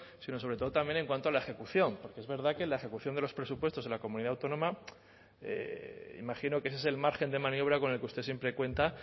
sino sobre todo también en cuanto a la ejecución es verdad que la ejecución de los presupuestos en la comunidad autónoma imagino que ese es el margen de maniobra con el que usted siempre cuenta